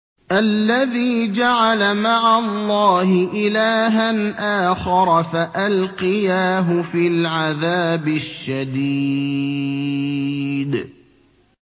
الَّذِي جَعَلَ مَعَ اللَّهِ إِلَٰهًا آخَرَ فَأَلْقِيَاهُ فِي الْعَذَابِ الشَّدِيدِ